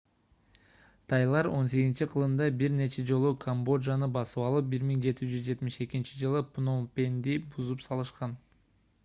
тайлар 18-к бир нече жолу камбоджаны басып алып 1772-ж пном пенди бузуп салышкан